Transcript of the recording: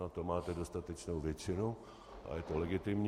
Na to máte dostatečnou většinu a bude to legitimní.